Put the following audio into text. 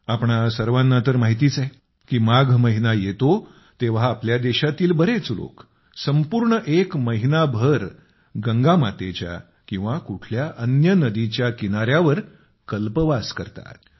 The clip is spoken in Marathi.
आपणा सर्वांना तर माहितीच आहे की माघ महिना येतो तेव्हा आपल्या देशातील बरेच लोक संपूर्ण एक महिनाभर गंगा मातेच्या किंवा कुठल्या अन्य नदीच्या किनाऱ्यावर कल्पवास करतात